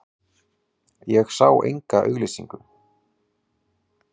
Ég sá enga auglýsingu.